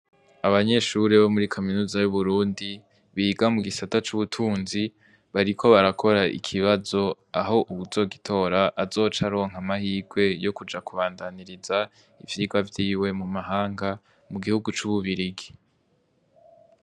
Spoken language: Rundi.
Abanyeshuri bo muri kaminuza y'uburundi, biga mu gisata c'ubutunzi bariko barakora ikibazo aho uwuzogitora azoca aronka amahirwe yo kuja kubandaniriza ivyirwa vyiwe mu mahanga mu gihugu c'ububirigi.